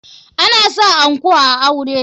Ana sa anko a aure.